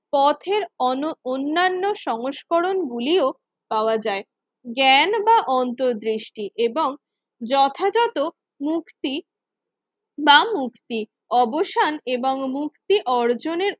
পথের অন অন্যান্য সংস্করণ গুলিও পাওয়া যায়। জ্ঞান বা অন্তর্দৃষ্টি এবং যথাযথ মুক্তি বা মুক্তি অবসান এবং মুক্তি অর্জনের